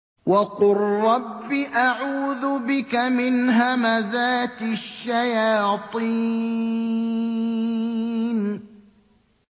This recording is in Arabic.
وَقُل رَّبِّ أَعُوذُ بِكَ مِنْ هَمَزَاتِ الشَّيَاطِينِ